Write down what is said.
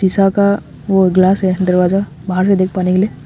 का वो ग्लास है दरवाजा बाहर से देख पाने के लिए।